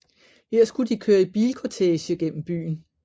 Her skulle de køre i bilkortege gennem byen